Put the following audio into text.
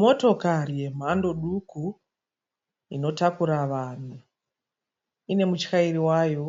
Motokari yemhando duku inotakura vanhu. Inemuchairi wayo